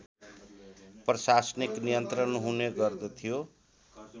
प्रशासनिक नियन्त्रण हुने गर्दथ्यो